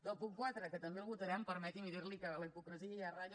del punt quatre que també el votarem permeti’m dir li que la hipocresia ja ratlla